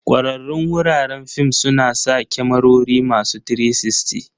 Kwararrun wuraren fim suna sa kyamarori masu 360.